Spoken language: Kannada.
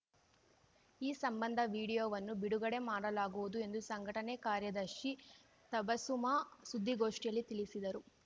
ಈ ಸಂಬಂಧ ವೀಡಿಯೋವನ್ನು ‌ಬಿಡುಗಡೆ ಮಾಡಲಾಗುವುದು ಎಂದು ಸಂಘಟನೆ ಕಾರ್ಯದರ್ಶಿ ತಬಸುಮ ಸುದ್ಧಿಗೋಷ್ಠಿಯಲ್ಲಿ ತಿಳಿಸಿದರು